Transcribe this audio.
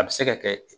A bɛ se ka kɛ